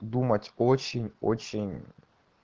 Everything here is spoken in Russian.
думать очень-очень